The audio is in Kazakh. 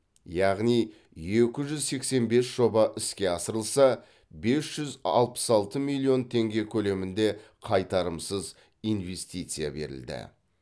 яғни екі жүз сексен бес жоба іске асырылса бес жүз алпыс алты миллион теңге көлемінде қайтарымсыз инвестиция берілді